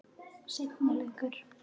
Seinni leikur